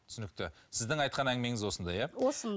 түсінікті сіздің айтқан әңгімеңіз осындай иә